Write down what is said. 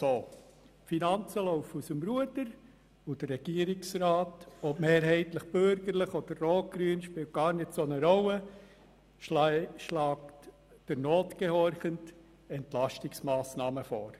Die Finanzen laufen aus dem Ruder und der Regierungsrat – ob mehrheitlich bürgerlich oder links-grün spielt nicht wirklich eine Rolle – schlägt der Not gehorchend Entlastungsmassnahmen vor.